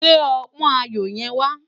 Gbé òpòn áyó yèn wá